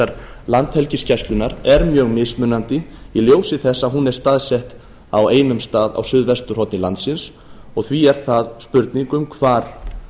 þyrlubjörgunarsveitar landhelgisgæslunnar er mjög mismunandi í ljósi þess að hún er staðsett á einum stað á suðvesturhorni landsins og því er það spurning um hvar